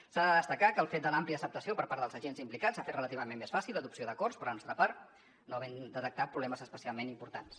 s’ha de destacar que el fet de l’àmplia acceptació per part dels agents implicats ha fet relativament més fàcil l’adopció d’acords per la nostra part i no hem detectat problemes especialment importants